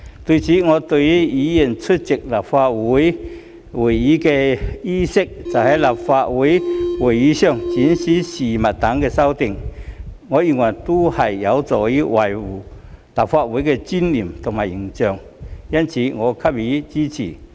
此外，對於議員出席立法會會議的衣飾、在立法會會議上展示物件等的修訂，我認為都是有助維護立法會的尊嚴和形象，因此我給予支持。